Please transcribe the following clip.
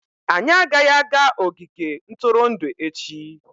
anyị agaghị aga ogige ntụrụndụ echi!